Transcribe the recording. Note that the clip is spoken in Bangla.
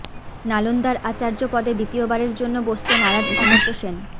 নালন্দার আচার্য পদে দ্বিতীয় বারের জন্য বসতে নারাজ অমর্ত্য সেন